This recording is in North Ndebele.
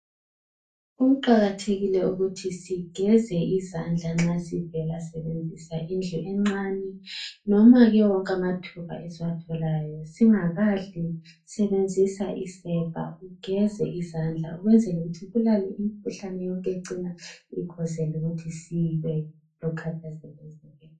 Kuqakathekile ukuthi sigeze izandla nxa sivela sibenzisa indlu encane. Noma wonke amathuba esiwatholayo singakadli. Sibenzisa isepa ugeze izandla ukwenzela ukuthi ibulale imkhuhlane yonke ecina ikhozela ukuthi sibe lokukhathazeka ezimpilweni.